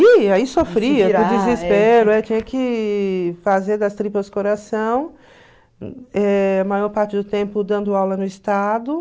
Ih, aí sofria, por desespero, aí tinha que fazer das tripas coração, eh a maior parte do tempo dando aula no estado.